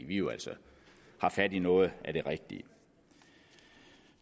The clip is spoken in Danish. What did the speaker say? vi jo altså har fat i noget af det rigtige